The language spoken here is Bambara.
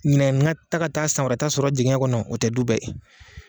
Ɲinɛ n ka taa ka taa san wɛrɛ ta sɔrɔ jigiɲɛ kɔnɔ o tɛ du bɛɛ ye.